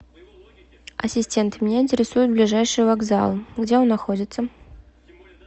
ассистент меня интересует ближайший вокзал где он находится